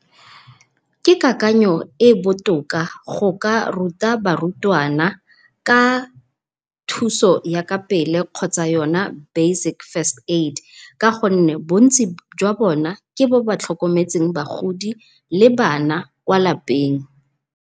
Ke kakanyo e botoka go ka ruta barutwana ka thuso ya kapele kgotsa yona basic first aid, ka gonne bontsi jwa bone ke ba ba tlhokometseng bagodi le bana kwa lapeng.